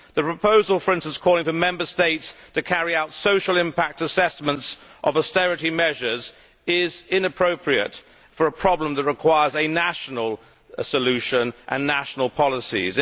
The proposal, for instance, calling for Member States to carry out social impact assessments of austerity measures is inappropriate for a problem which requires a national solution and national policies.